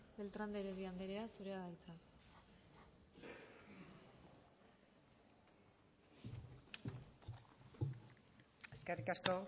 beltrán de heredia andrea zurea da hitza eskerrik asko